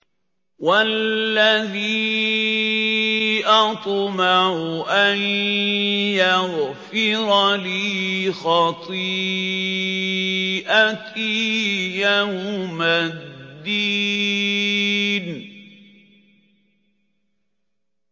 وَالَّذِي أَطْمَعُ أَن يَغْفِرَ لِي خَطِيئَتِي يَوْمَ الدِّينِ